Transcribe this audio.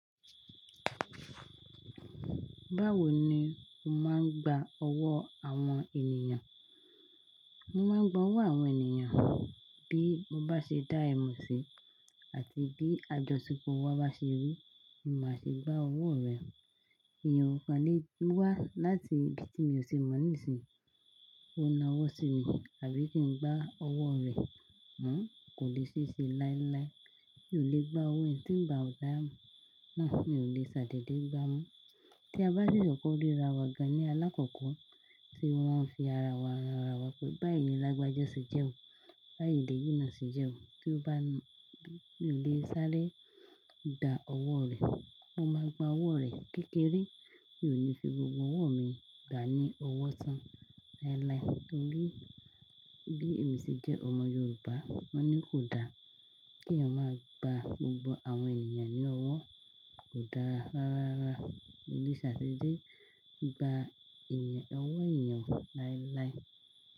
Báwo ni o máa ń gba ọwọ́ àwọn ènìyàn? Mo máa ń gba owó àwọn ènìyàn, bí mo bá ṣe dá ẹ mọ̀ sí, àti bí àjọṣepọ̀ wa bá ṣe rí, ni máa ṣe gba owó rẹ̀. Èèyàn ó kọ́ lè wá láti ibi tí mi ò ti mọ̀ nísìnyí, kí ó na ọwọ́ sí mi, àbí kí n gba owó rẹ̀, wò kò lè ṣẹ̀ṣẹ̀ láíláí. Mi ò lè gba owó ẹni tí ń ba damọ́, náà mi ò lè ṣàdèdè gbá owó. Tí a bá rí ọkọ ríra wa ga ní alákọ̀ọ́kọ́, tí wọ́n ń fi ara wa rara wa pé báyìí ni lágbájá ṣe jẹ́ ò, báyìí ni èyí náà ṣe jẹ́ ò. Kí ó bá lè sáré dá owó rẹ̀, mo máa gba owó rẹ̀ kékeré, mi ò ní fi gbogbo owó mi gba ní owó tán láíláí. Ní bí èmi ṣe jẹ́ ọmọ Yorùbá, wọ́n ní kò dá kí èèyàn máa gba gbogbo àwọn ènìyàn ní owó, kò dá rara rí ṣàdèdè gba ọwọ́ ènìyàn láíláí.